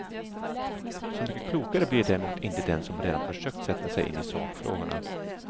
Så mycket klokare blir däremot inte den som redan försökt sätta sig in i sakfrågorna.